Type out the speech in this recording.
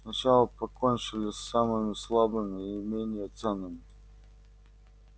сначала покончили с самыми слабыми и менее ценными